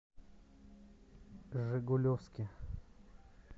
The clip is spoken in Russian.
жигулевске